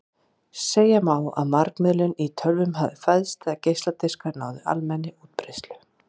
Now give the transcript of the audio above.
Segja má að margmiðlun í tölvum hafi fæðst þegar geisladiskar náðu almennri útbreiðslu.